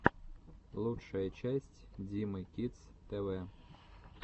лучшая часть димы кидс тэ вэ